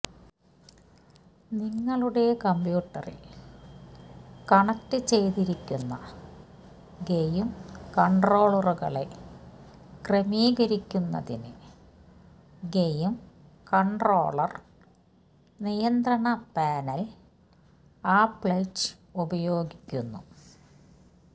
നിങ്ങളുടെ കമ്പ്യൂട്ടറിൽ കണക്റ്റുചെയ്തിരിക്കുന്ന ഗെയിം കൺട്രോളറുകളെ ക്രമീകരിക്കുന്നതിന് ഗെയിം കൺട്രോളർ നിയന്ത്രണ പാനൽ ആപ്ലെറ്റ് ഉപയോഗിക്കുന്നു